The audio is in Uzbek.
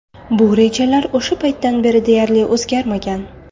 Bu rejalar o‘sha paytdan beri deyarli o‘zgarmagan.